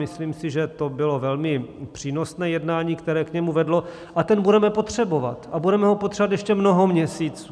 Myslím si, že to bylo velmi přínosné jednání, které k němu vedlo, a ten budeme potřebovat a budeme ho potřebovat ještě mnoho měsíců.